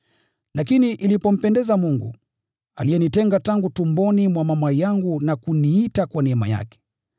Lakini ilipompendeza Mungu, aliyenitenga tangu tumboni mwa mama yangu na kuniita kwa neema yake,